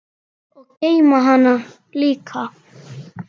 Og geyma hana líka.